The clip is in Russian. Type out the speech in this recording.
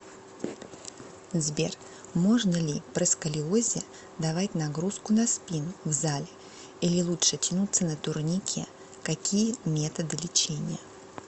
сбер можно ли при сколиозе давать нагрузку на спину в зале или лучше тянуться на турникекакие методы лечения